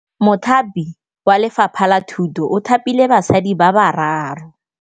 Mothapi wa Lefapha la Thutô o thapile basadi ba ba raro.